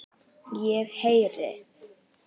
Ég heyri.